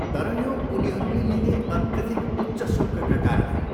तर यो उनीहरूले लिने अत्यधिक उच्च शुल्कका कारण हो।